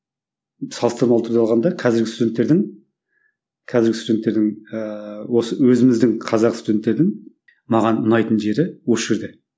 салыстырмалы түрде алғанда қазіргі студенттердің қазіргі студенттердің ыыы осы өзіміздің қазақ студенттердің маған ұнайтын жері осы жерде